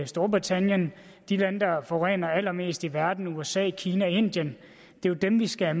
storbritannien og de lande der forurener allermest i verden som usa kina og indien er dem vi skal